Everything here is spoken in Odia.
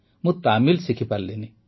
ମୁଁ ତାମିଲ ଶିଖିପାରିଲିନି